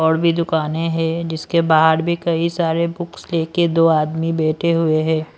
और भी दुकानें हैं जिसके बाहर भी कई सारे बुक्स लेकर दो आदमी बैठे हुए हैं।